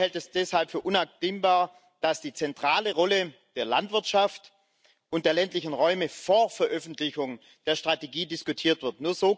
Die EVP hält es deshalb für unabdingbar, dass die zentrale Rolle der Landwirtschaft und der ländlichen Räume vor Veröffentlichung der Strategie diskutiert wird.